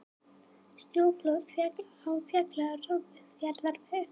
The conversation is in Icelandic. Snjóflóð féll á Siglufjarðarveg